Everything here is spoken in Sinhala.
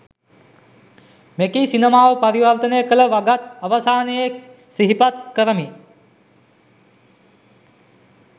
මෙකී සිනමාව පරිවර්තනය කළ වගත් අවසානයේ සිහිපත් කරමි.